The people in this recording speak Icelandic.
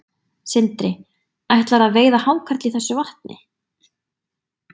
Sindri: Ætlarðu að veiða hákarl í þessu vatni?